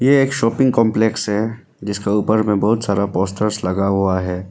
ये एक shopping complex है जिसका ऊपर में बहुत सारा पोस्टर्स लगा हुआ है।